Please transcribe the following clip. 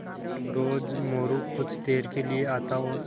रोज़ मोरू कुछ देर के लिये आता और